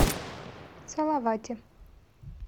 салавате